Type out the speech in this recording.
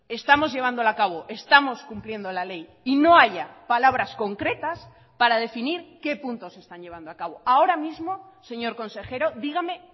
estamos llevándola a cabo estamos cumpliendo la ley y no haya palabras concretas para definir qué puntos están llevando a cabo ahora mismo señor consejero dígame